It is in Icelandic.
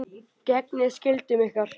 Gegnið skyldum ykkar!